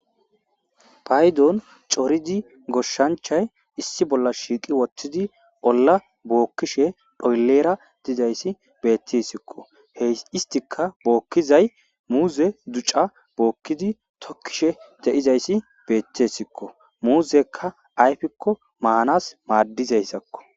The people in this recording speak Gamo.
Paydon coridi goshshanchay issi bolla shiiqi wothtidi olla bookkishe phoylera dizayssi beettissikko hey istika bookkizay muuze duca bookkidi tokkishe de7izayssi beettessikko muuzekka ayfikko maanas maaddizayssakko.